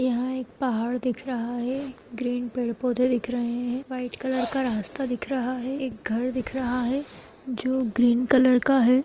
यहाँ एक पहाड़ दिख रहा है ग्रीन पेड़- पौधे दिख रहे है व्हाइट कलर का रास्ता दिख रहा है एक घर दिख रहा है जो ग्रीन कलर का हैं।